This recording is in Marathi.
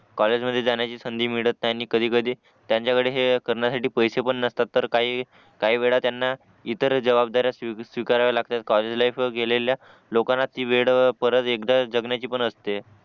कॉलेजमध्ये जाण्याची संधी मिळत नाही आणि कधी कधी त्यांचाकडे हे करण्यासाठी पैसे पण नसतात तर काही काही वेळा त्यांना इतर जवाबदाऱ्या स्वीकाराव्या लागतात कॉलेज लाईफ वर गेलेल्या लोकांना ती वेळ परत एकदा जगण्याची पण असते